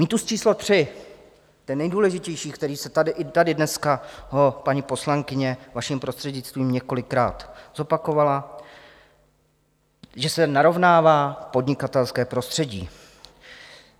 Mýtus číslo 3, ten nejdůležitější, který se tady, i tady dneska ho paní poslankyně, vaším prostřednictvím, několikrát zopakovala, že se narovnává podnikatelské prostředí.